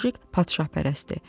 Mujik padşahpərəstdir.